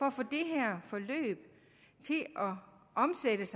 at få det her forløb omsat